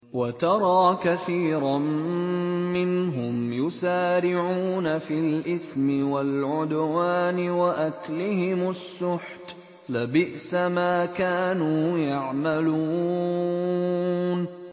وَتَرَىٰ كَثِيرًا مِّنْهُمْ يُسَارِعُونَ فِي الْإِثْمِ وَالْعُدْوَانِ وَأَكْلِهِمُ السُّحْتَ ۚ لَبِئْسَ مَا كَانُوا يَعْمَلُونَ